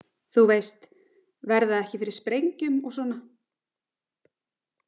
þú veist, verða ekki fyrir sprengjum og svona.